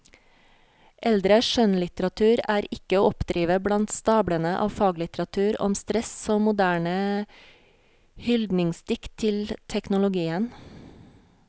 Eldre skjønnlitteratur er ikke å oppdrive blant stablene av faglitteratur om stress og moderne hyldningsdikt til teknologien.